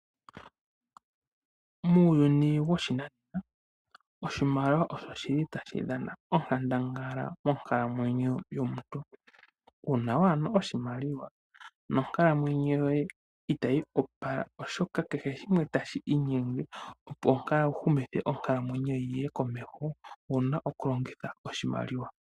Muuyuni woshinanena oshimaliwa osho shili tashi dhana onkandangala monkalamwenyo yomuntu kehe, nuuna waana oshimaliwa nonkalamwenyo yoye itayipupala , oshoka kehe shimwe tashii inyenge opo wuhumithe onkalamwenyo yoye yiye komeho owuna okulongitha oshimaliwa.